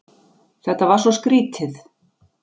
Þetta var svo skrýtið.